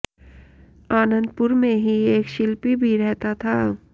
आनंतपुर में ही एक शिल्पी भी रहता था